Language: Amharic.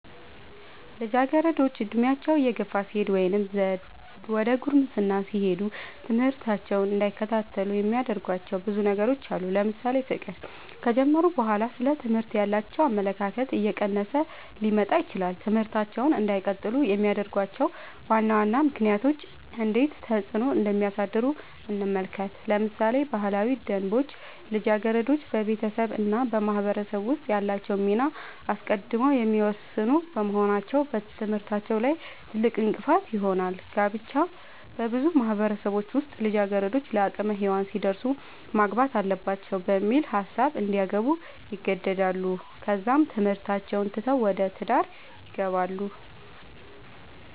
ልጃገረዶች ዕድሜያቸው እየገፋ ሲሄድ ወይም ዘደ ጉርምስና ሲሄዱ ትምህርታቸውን እንዳይከታተሉ የሚያደርጉዋቸው ብዙ ነገሮች አሉ ለምሳሌ ፍቅር ከጀመሩ በኋላ ስለ ትምህርት ያላቸው አመለካከት እየቀነሰ ሊመጣ ይችላል ትምህርታቸውን እንዳይቀጥሉ የሚያደርጉዋቸው ዋና ዋና ምክንያቶች እንዴት ተፅዕኖ እንደሚያሳድሩ እንመልከት ለምሳሌ ባህላዊ ደንቦች ልጃገረዶች በቤተሰብ እና በማህበረሰብ ውስጥ ያላቸውን ሚና አስቀድመው የሚወስኑ በመሆናቸው በትምህርታቸው ላይ ትልቅእንቅፋት ይሆናል። ጋብቻ- በብዙ ማህበረሰቦች ውስጥ ልጃገረዶች ለአቅመ ሄዋን ሲደርሱ ማግባት አለባቸው በሚል ሀሳብ እንዲያገቡ ይገደዳሉ ከዛም ትምህርታቸውን ትተው ወደ ትዳር ይገባሉ።